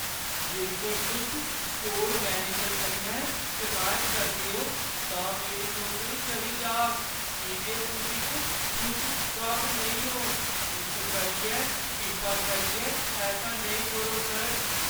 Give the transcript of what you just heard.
जेकर तुस store manager कन्नै शिकायत करदे ओ, तां मेरी नौकरी चली जाह्‌ग की जे तुस इक खुश गाह्क नेईं ओ, इस करियै कृपा करियै ऐसा नेईं करो, सर।